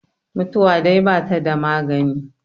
mutuwa dai ba ta da maganin